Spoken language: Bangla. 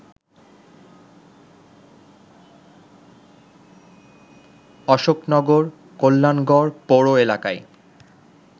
অশোকনগর, কল্যাণগড় পৌর এলাকায়